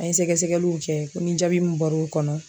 An ye sɛgɛsɛgɛliw kɛ ko ni jaabi min bɔr'o kɔnɔ